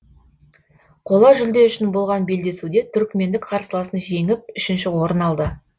қола жүлде үшін болған белдесуде түркімендік қарсыласын жеңіп үшінші орын алды